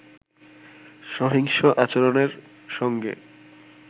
সহিংস আচরণের সঙ্গে